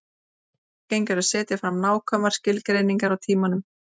Illa gengur að setja fram nákvæmar skilgreiningar á tímanum.